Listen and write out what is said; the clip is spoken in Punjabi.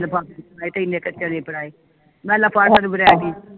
ਲਫਾਫੇ ਚ ਮੈਂ ਕਿਹਾ ਇਨੇ ਕੇ ਚਨੇ ਫੜਾਏ ਮੈਂ ਆਲਾ ਹੁਣ variety